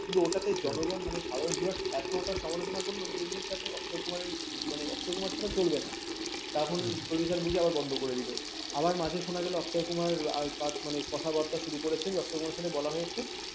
মানে ওটা তো জনগণ সাধারণ videos এতটা সমালোচনা করলো যে এদের সাথে অক্ষয় কুমারের অক্ষয় কুমারের সাথে চলবে না তখন producer বোঝে বন্ধ করে দিল আবার মাঝে শোনা গেল অক্ষয় কুমার মনে কথাবার্তা শুরু করেছে অক্ষয় কুমারের সাথে বলা হয়েছে